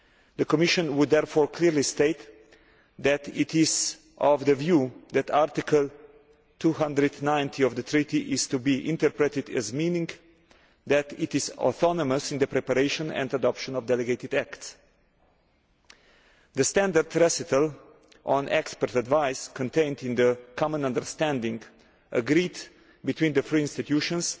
The Commission would therefore clearly state that it is of the view that Article 290 of the Treaty is to be interpreted as meaning that it is autonomous in the preparation and adoption of delegated acts. The standard recital on expert advice contained in the common understanding agreed between the three institutions